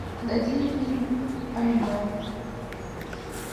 найди фильм аниме